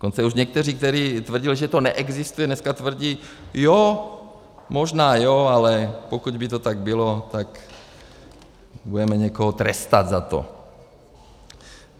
Dokonce už někteří, kteří tvrdili, že to neexistuje, dneska tvrdí jo, možná jo, ale pokud by to tak bylo, tak budeme někoho trestat za to.